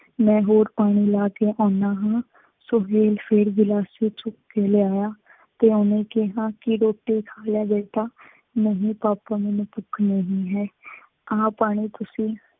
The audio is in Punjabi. ਮੈਂ ਹੋਰ ਪਾਣੀ ਲੈ ਕੇ ਆਉਂਦਾ ਹਾਂ। ਸੁਹੇਲ ਫੇਰ ਗਲਾਸੀ ਚੁੱਕ ਕੇ ਲਿਆਇਆ। ਪਿਉ ਨੇ ਕਿਹਾ ਕਿ ਰੋਟੀ ਖਾ ਲੈ ਬੇਟਾ ਨਹੀਂ ਪਾਪਾ ਮੈਂਨੂੰ ਭੁੱਖ ਨਹੀਂ ਹੈ ਆਹ ਪਾਣੀ ਤੁਸੀਂ